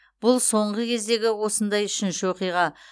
бұл соңғы кездегі осындай үшінші оқиға